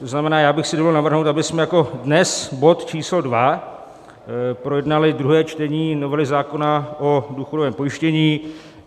To znamená, já bych si dovolil navrhnout, abychom jako dnes bod číslo 2 projednali druhé čtení novely zákona o důchodovém pojištění.